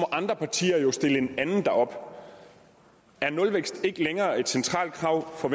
andre partier jo stille en anden derop er nulvækst ikke længere et centralt krav for